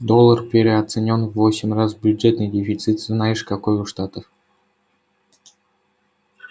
доллар переоценён в восемь раз бюджетный дефицит знаешь какой у штатов